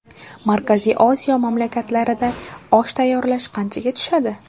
Markaziy Osiyo mamlakatlarida osh tayyorlash qanchaga tushadi?.